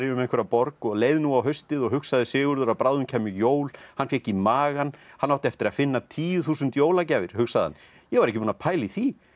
um einhverja borg og leið nú á haustið og hugsaði Sigurður að bráðum kæmu jól hann fékk í magann hann átti eftir að finna tíu þúsund jólagjafir hugsaði hann ég var ekki búinn að pæla í því